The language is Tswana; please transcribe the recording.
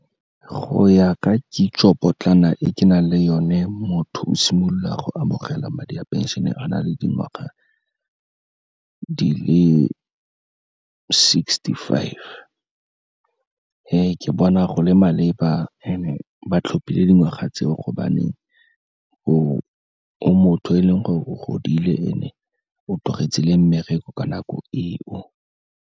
Go ya ka kitso potlana e ke nang le yone, motho o simolola go amogela madi a phenšene a na le dingwaga di le sixty-five. Ke bona go le maleba and-e ba tlhophile dingwaga tseo gobaneng o motho yo e leng gore o godile and-e o tlogetse le mmereko ka nako e o.